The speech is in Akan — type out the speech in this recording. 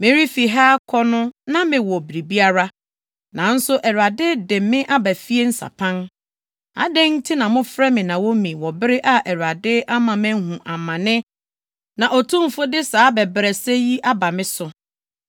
Merefi ha akɔ no na mewɔ biribiara, nanso Awurade de me aba fie nsapan. Adɛn nti na mofrɛ me Naomi wɔ bere a Awurade ama mahu amane na Otumfo de saa abɛbrɛsɛ yi aba me so?”